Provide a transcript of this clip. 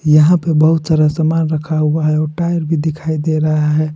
यहां पे बहुत सारा सामान रखा हुआ है और टायर भी दिखाई दे रहा है।